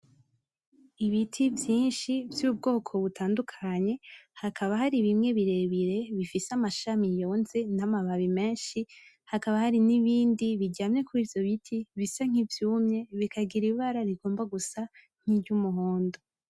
Ibiti vyinshi vyubwoko butandukanye hakaba hari bimwe birebire bifise amashami yonze n'amababi menshi hakaba hari n'ibindi biryamye kurivyo biti bisa nkivyumye bikagira ibara rigomba gusa nkiryumuhondo.